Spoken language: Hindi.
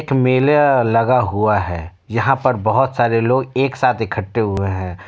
एक मेला लगा हुआ हैं यहां पर बहुत सारे लोग एक साथ इकट्ठे हुए हैं।